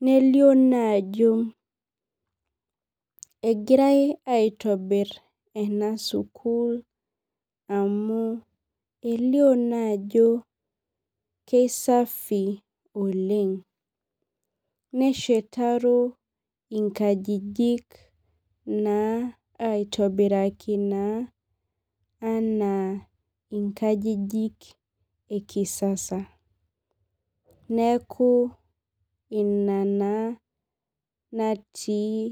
nelio naa ajo egirai aitobir enasukul amu elio naa ajo keshafi oleng neshetaro nkajijik aitobiraki naa ana inkajijik e kisasa neaku ina na natii.